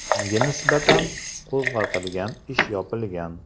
Unga nisbatan qo‘zg‘atilgan ish yopilgan.